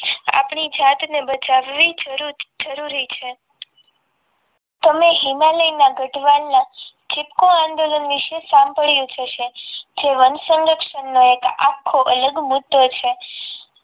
આપણી જાતને જાણવી જરૂર જરૂરી છે તમે હિમાલયના ગધ્વાન ના ચિપકો આંદોલન વિશે સાંભળ્યું જ હશે જે વંશજક વિશે આખો અલગ મુદ્દો છે